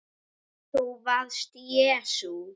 ÞÚ VARST JESÚ